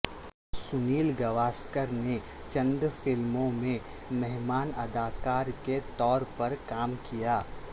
سنیل گواسکر نے چند فلموں میں مہمان اداکار کے طور پر کام کیا